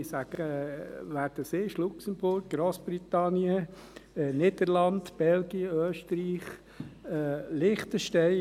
Ich sage, wer das ist: Luxemburg, Grossbritannien, die Niederlande, Belgien, Österreich und Liechtenstein.